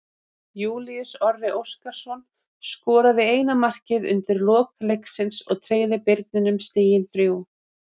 Júlíus Orri Óskarsson skoraði eina markið undir lok leiksins og tryggði Birninum stigin þrjú.